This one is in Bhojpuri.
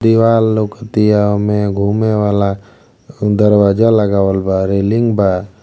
दीवाल लउकतिया ओमे। घूमे वाला दरवाजा लगावल बा। रेलिंग बा।